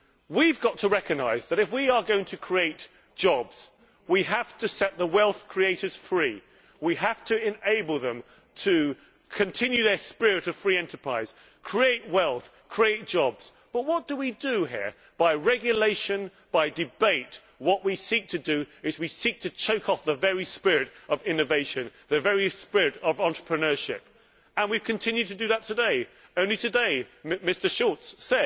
We have got to recognise that, if we are going to create jobs, we have to set the wealth creators free. We have to enable them to continue their spirit of free enterprise, to create wealth, to create jobs. But what do we do here? By regulation and debate, what we seek to do is to choke off the very spirit of innovation, the very spirit of entrepreneurship, and we have continued to do that today. Only today Mr Schulz